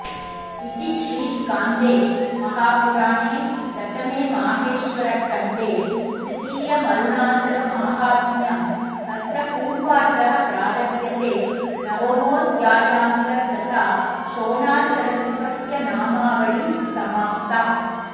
इति श्रीस्कान्दे महापुराणे प्रथमे माहेश्वरखण्डे तृतीयमरुणाचलमाहात्म्यं तत्र पूर्वार्धः प्रारभ्यते नवमोऽध्यायान्तर्गता शोणाचलशिवस्यनामाआवली समाप्ता